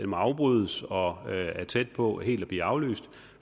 må afbrydes og er tæt på helt at blive aflyst